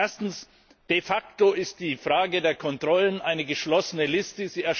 Erstens De facto ist die Frage der Kontrollen eine geschlossene Liste.